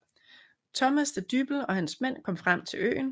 Thomas da Dyppel og hans mænd kom frem til øen